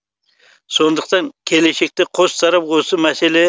сондықтан келешекте қос тарап осы мәселе